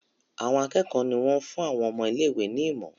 Àwọn akékòó ní wón fún àwọn ọmọ ilé ìwé ní imo.